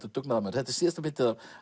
og dugnaðarmaður þetta er síðasta bindið af